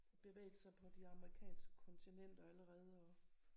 Bevægelser på de amerikanske kontinenter allerede og